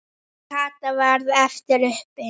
Kata varð eftir uppi.